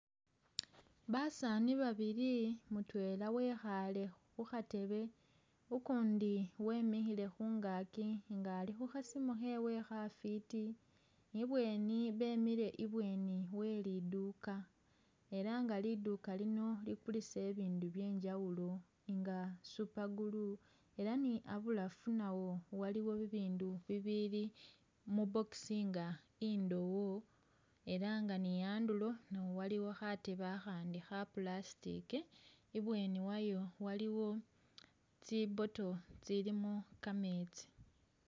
Basaani babili, mutwela wekhale khu khatebe, ukundi wemikhile khungaaki nga ali khu khasimu khewe kha fwiti, ibweni bemile ibweni we liduuka, ela nga liduuka lino likulisa ibindu bye njawulo nga super glue ela ni abulafu nawo iliwo bibindu bibili mu box nga indowo ela nga ni andulo nawo waliwo khatebe akhandi kha plastic, ibweni wayo waliwo tsi bottle tsilimo ka metsi